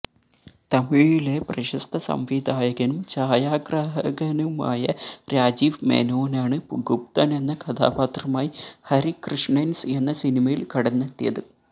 തമിഴിലെ പ്രശ്സത സംവിധായകനും ഛായാഗ്രഹകനുമായ രാജീവ് മേനോനാണ് ഗുപതനെന്ന കഥാപാത്രമായി ഹരി കൃഷ്ണന്സ് എന്ന സിനിമയില് കടന്നെത്തിയത്